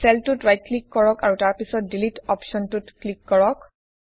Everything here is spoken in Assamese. চেলটোত ৰাইট ক্লিক কৰক আৰু তাৰ পিছত ডিলিট অপশ্বনটোত ক্লিক কৰক